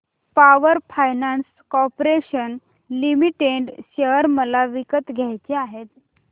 power finance corporation limited share मला विकत घ्यायचे आहेत